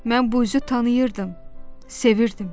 Mən bu üzü tanıyırdım, sevirdim.